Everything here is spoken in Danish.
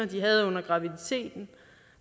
de havde under graviditeten